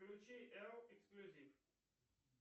включи л эксклюзив